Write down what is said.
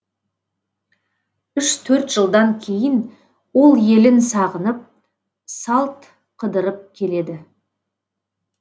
үш төрт жылдан кейін ол елін сағынып салт қыдырып келеді